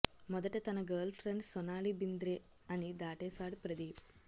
మొదట తన girl friend Sonali Bendre అని దాటేశాడు ప్రదీప్